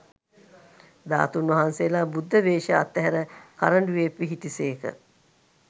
ධාතූන් වහන්සේලා බුද්ධ වේශය අත්හැර කරඬුවේ පිහිටි සේක